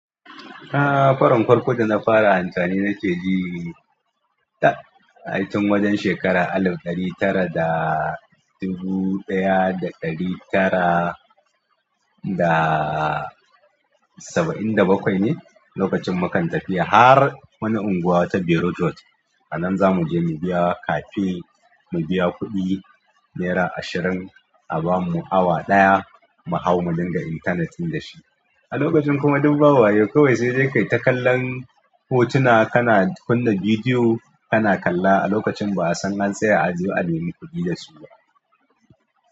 A farin farko da na fara amfani na ke ji ta ai tun wajen shekara alif ɗari tara da dubu ɗaya da ɗari tara da saba'in da bakwai ne. Lokacin mu kan tafi har wani unguwa wata Berot road a nan za mu je mu biya cafe, mu biya kuɗi nera ashirin a bamu awa ɗaya mu hau mu dinga intanet in da shi. A lokacin kuma duk ba wayau kawai sai dai kai ta kallon hotuna, kana kunna bidiyo kana kalla a lokacin ba'a san an tsaya a aje a nemi kuɗi da su ba.